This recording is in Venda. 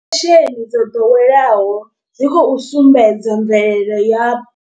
Fesheni dzo ḓoweleaho dzi khou sumbedza mvelele ya.